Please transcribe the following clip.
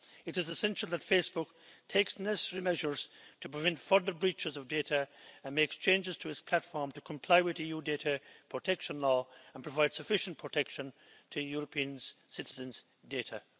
It is essential that Facebook takes the necessary measures to prevent further breaches of data and makes changes to its platform to comply with EU data protection law and provide sufficient protection to European citizens' data.